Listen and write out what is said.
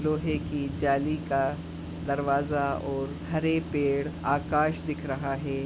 लोहे की जाली का दरवाजा और हरे पड़े आकाश दिख रहा है।